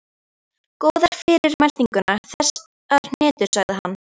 Góðar fyrir meltinguna, þessar hnetur sagði hann.